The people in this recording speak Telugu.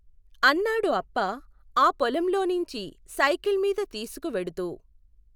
అన్నాడు అప్ప ఆ పొలం లోనించి సైకిల్మీద తీసుకు వెడుతూ.